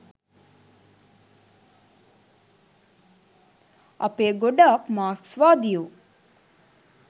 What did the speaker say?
අපේ ගොඩක් මාක්ස්වාදියෝ